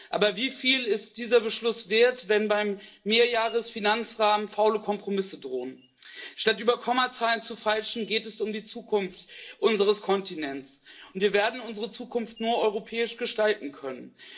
Aber wieviel ist dieser Beschluss wert, wenn beim Mehrjährigen Finanzrahmen faule Kompromisse drohen? Statt über Kommazahlen zu feilschen, geht es um die Zukunft unseres Kontinents, und wir werden unsere Zukunft nur europäisch gestalten können.